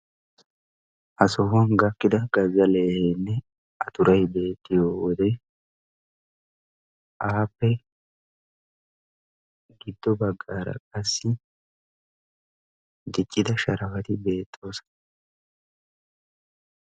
Ha sohuwan gakkida gazza leeheenne a turayi beettiyo wode appe giddo baggaara qassi diccida sharafati beettoosona.